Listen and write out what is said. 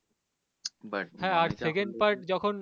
but